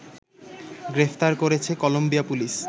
গ্রেফতার করেছে Colombia police